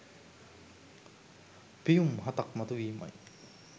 පියුම් හතක් මතු වීමයි.